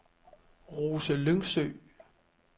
Rose Lyngsø